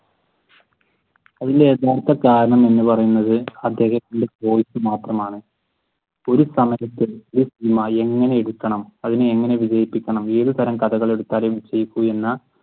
അതിന്റെ യഥാർത്ഥ കാര്യം എന്ന് പറയുന്നത് അദ്ദേഹത്തിന്റെ choice മാത്രമാണ്. ഒരു സമയത്തു ഒരു സിനിമ എങ്ങനെടുക്കണം അതിനെ എങ്ങനെ വികസിപ്പിക്കണം ഏതു തരം കഥകൾ എടത്താൽ വിജയിക്കൂ എന്ന